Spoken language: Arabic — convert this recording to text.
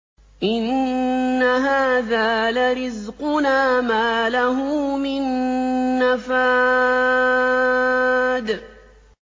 إِنَّ هَٰذَا لَرِزْقُنَا مَا لَهُ مِن نَّفَادٍ